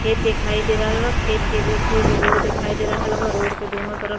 खेत दिखाई दे रहल बा। खेत के बीच से एगो रोड दिखाई दे रहल बा। रोड के दोनों तरफ --